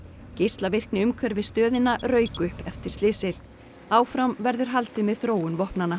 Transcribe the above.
geislavirkni umhverfis stöðina rauk upp eftir slysið áfram verður haldið með þróun vopnanna